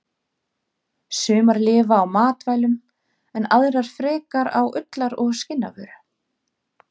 Sumar lifa á matvælum en aðrar frekar á ullar- og skinnavöru.